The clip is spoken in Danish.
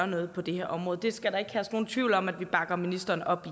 noget på det her område der skal ikke herske nogen tvivl om at vi bakker ministeren op